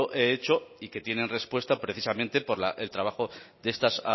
he hecho y que tienen respuesta precisamente por el trabajo de estas